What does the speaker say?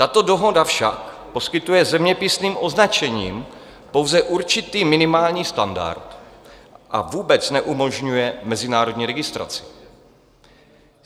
Tato dohoda však poskytuje zeměpisným označením pouze určitý minimální standard a vůbec neumožňuje mezinárodní registraci.